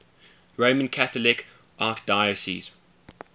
roman catholic archdiocese